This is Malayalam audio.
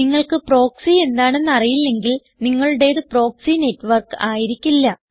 നിങ്ങൾക്ക് പ്രോക്സി എന്താണെന്ന് അറിയില്ലെങ്കിൽ നിങ്ങളുടേത് പ്രോക്സി നെറ്റ്വർക്ക് ആയിരിക്കില്ല